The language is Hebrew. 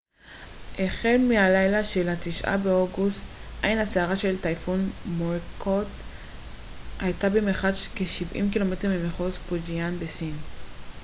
החל מהלילה של התשעה באוגוסט עין הסערה של הטייפון מוראקוט הייתה במרחק של כשבעים קילומטר ממחוז פוג'יאן שבסין